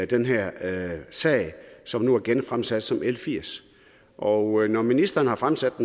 den her sag som nu er genfremsat som som l firs når når ministeren har fremsat